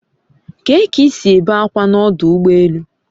Kee k'isi ebe akwa na odu ugbo elu?